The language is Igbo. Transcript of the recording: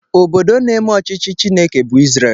Obodo na-eme ọchịchị Chineke bụ Israel.